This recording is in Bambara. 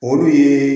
O dun ye